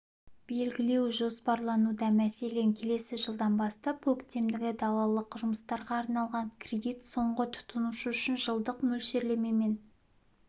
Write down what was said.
белгілеу жоспарлануда мәселен келесі жылдан бастап көктемгі-далалық жұмыстарға арналған кредит соңғы тұтынушы үшін жылдық мөлшерлемемен